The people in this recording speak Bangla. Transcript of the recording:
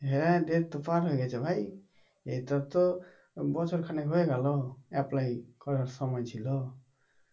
হ্যাঁ date তো পার হয়ে গেছে ভাই এটা তো বছর খানেক হয়ে গেল apply করার সময় ছিল